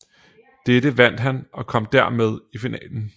Dette vandt han og kom dermed i finalen